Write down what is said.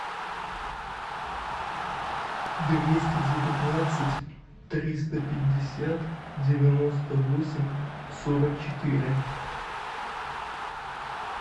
двести девятнадцать триста пятьдесят девяносто восемь сорок четыре